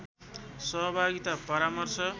सहभागिता परामर्श